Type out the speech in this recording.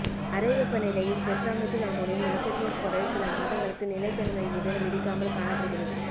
அறை வெப்பநிலையில் tetramethyl ammonium nitratoborate சில மாதங்களுக்கு நிலைத்தன்மையுடன் வெடிக்காமல் காணப்படுகிறது